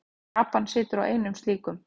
Japan situr á einum slíkum.